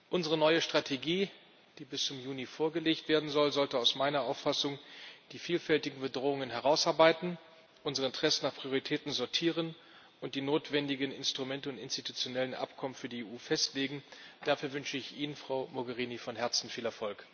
Unsere neue Strategie, die bis zum Juni vorgelegt werden soll, sollte meiner Auffassung nach die vielfältigen Bedrohungen herausarbeiten, unsere Interessen nach Prioritäten sortieren und die notwendigen Instrumente und institutionellen Abkommen für die EU festlegen. Dafür wünsche ich Ihnen, Frau Mogherini, von Herzen viel Erfolg!